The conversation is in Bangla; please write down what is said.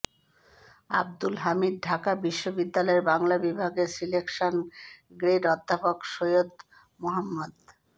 আব্দুল হামিদ ঢাকা বিশ্ববিদ্যালয়ের বাংলা বিভাগের সিলেকশান গ্রেড অধ্যাপক সৈয়দ মোহাম্মদ